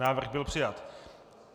Návrh byl přijat.